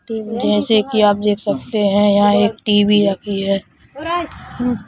जैसे कि आप देख सकते हैं यहां एक टी_वी रखी है।